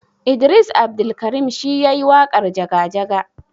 Idris Abdulkarim shi yayi waƙarJaga jaga.